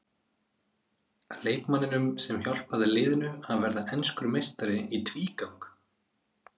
Leikmanninum sem hjálpaði liðinu að verða enskur meistari í tvígang?